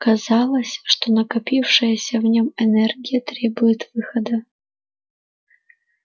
казалось что накопившаяся в нем энергия требует выхода